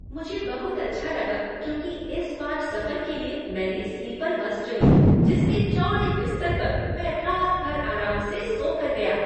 मुझे बहुत अच्छा लगा क्योंकि इस बार सफर के लिए मैंने स्लीपर बस चुनी जिसके चौड़े बिस्तर पर मैं रात भर आराम से सो कर गया।